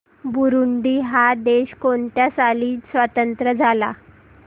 Burundi हा देश कोणत्या साली स्वातंत्र्य झाला